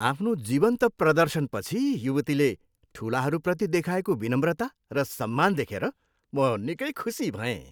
आफ्नो जीवन्त प्रदर्शनपछि युवतीले ठुलाहरूप्रति देखाएको विनम्रता र सम्मान देखेर म निकै खुसी भएँ।